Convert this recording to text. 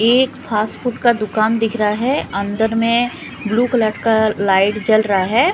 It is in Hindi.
एक फास्ट फूड का दुकान दिख रहा है अंदर में ब्लू कलर का लाइट जल रहा है।